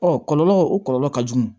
Ɔ kɔlɔlɔ o kɔlɔlɔ ka jugu